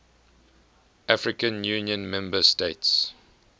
african union member states